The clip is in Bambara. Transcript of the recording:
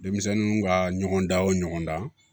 Denmisɛnninw ka ɲɔgɔn dan o ɲɔgɔndan